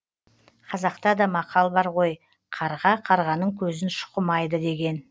қазақта да мақал бар ғой қарға қарғаның көзін шұқымайды деген